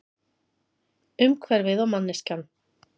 Umhverfið og manneskjan.